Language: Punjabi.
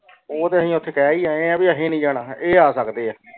ਉਹ ਤੇ ਅਸੀਂ ਓਥੇ ਕਹਿ ਹੀ ਆਏ ਹਨ ਅਸੀਂ ਨਾਈ ਜਾਣਾ ਇਹ ਆ ਸਕਦੇ ਏ